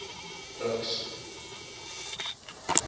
buks